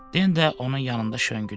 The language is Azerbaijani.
Den də onun yanında şönqüdü.